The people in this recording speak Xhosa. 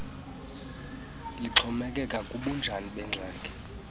lixhomekeke kubunjani bengxaki